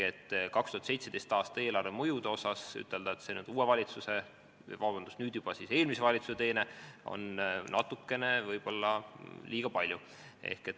2017. aasta eelarve mõjude kohta ütelda, et see on uue või, vabandust, nüüd juba eelmise valitsuse teene, on natukene võib-olla liiga palju.